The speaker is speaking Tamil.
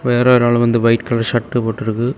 வேற ஒரு ஆளு வந்து ஒயிட் கலர் ஷர்ட் போற்றுக்கு.